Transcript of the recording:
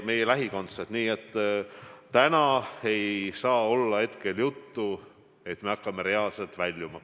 Täna ei saa paraku olla juttu, et me hakkame reaalselt kriisist väljuma.